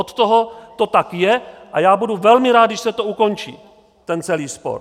Od toho to tak je a já budu velmi rád, když se to ukončí, ten celý spor.